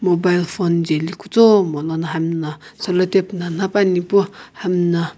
mobile phone jaeli kutomo ane hamna solitap na napani pu hamna.